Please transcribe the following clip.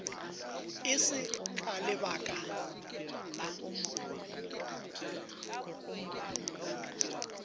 e se ka lebaka la